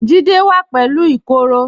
Jídẹ̀ wà pẹ̀lú ìkoro